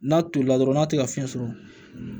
N'a tolila dɔrɔn n'a tɛ ka fiɲɛ sɔrɔ